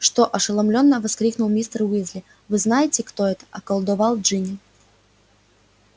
что ошеломлённо воскликнул мистер уизли вы знаете кто это околдовал джинни